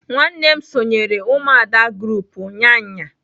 Nwannem sonyere umuada group unyanya.